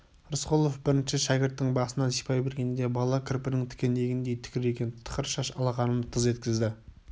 рысқұлов бірінші шәкірттің басынан сипай бергенде бала кірпінің тікенегіндей тікірейген тықыр шаш алақанын тыз еткізді